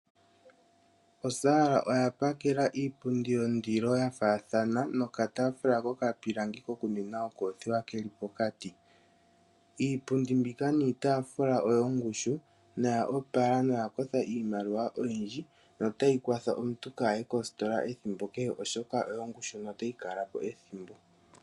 Osaala oya pakela iipundi yondilo ya faathana nokataafula kokapilangi kokuninwa okoothiwa ke li pokati. Iipundi mbika niitaafula oyongushu noya opala noya kotha iimaliwa oyindji notayi kwatha omuntu kaaye koositola ethimbo kehe, oshoka oyongushu notayi kala po ethimbo.